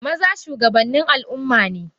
Maza shugabannin Al ummane.